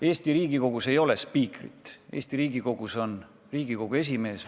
Eesti Riigikogus ei ole spiikrit, Eesti Riigikogus on Riigikogu esimees.